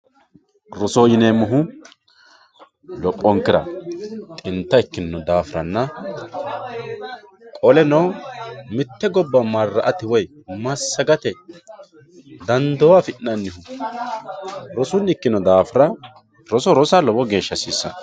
Roso yineemmohu heeshshonkera xinta ikkino daafiranna qoleno mite gobba mara'ate woyi massagate dando affi'nanni rosunni ikkino daafira roso rossa lowo geeshsha hasiisano.